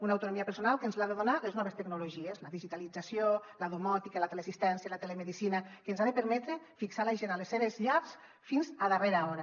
una autonomia personal que ens l’han de donar les noves tecnologies la digitalització la domòtica la teleassistència i la telemedicina que ens ha de permetre fixar la gent a les seves llars fins a darrera hora